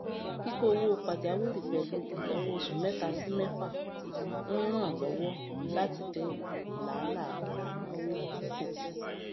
kíkó owó pajawìrì pẹlú ináwó oṣù mẹta sí mẹfà ń ràn lọwọ láti dín làálàá ináwó kù